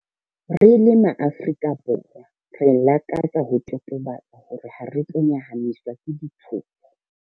Re le MaAfrika Borwa, re lakatsa ho totobatsa hore hare tlo nyahamiswa ke ditshoso.